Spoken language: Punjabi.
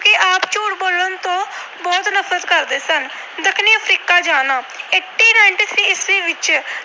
ਨਫਰਤ ਕਰਦੇ ਸਨ। ਦੱਖਣੀ ਅਫਰੀਕਾ ਜਾਣਾ - eighty ninty-three ਈਸਵੀ ਵਿੱਚ